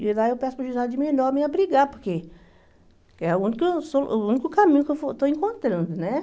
E lá eu peço para o juizado de menor me abrigar, porque é o único o único caminho que eu vou estou encontrando, né?